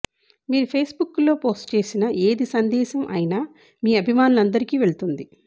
మీరు ఫేస్బుక్లో పోస్ట్ చేసిన ఏది సందేశం అయినా మీ అభిమానులందరికి వెళ్తుంది